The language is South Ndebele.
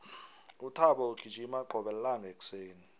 uthabo ugijima qobe lilanga ekuseni